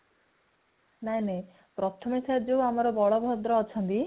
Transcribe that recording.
ନାଇଁ ନାଇଁ ପ୍ରଥମେ ଠାରେ ଆମର ବଳଭଦ୍ର ଅଛନ୍ତି